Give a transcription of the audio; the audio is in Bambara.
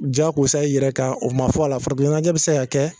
Jakosa i yɛrɛ kan o ma fɔ a la, farikolo ɲɛnajɛ bi se ka kɛ